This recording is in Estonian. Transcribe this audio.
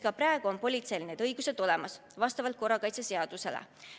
Ka praegu on politseil need õigused olemas vastavalt korrakaitseseadusele.